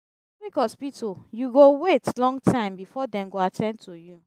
for public hospital you go wait long time before dem go at ten d to you.